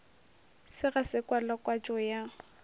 se ga se kwalakwatšo ya